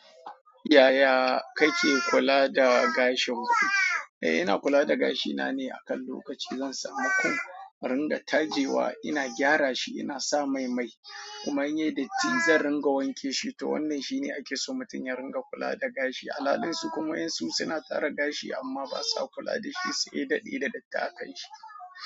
Yaya kake kula da gashin ku? Eh, ina kula da gashina neh akan lokaci zan samu comb in ringa tajewa ina gyara shi ina sa mai mai kuma in ya yi datti zan ringa wanke shi toh wannan shine ake so mutum ya ringa kula da gashi. Alhalin su kuma waɗansu suna tara gashi amma ba sa kula da shi sai ya daɗe da datti akan shi.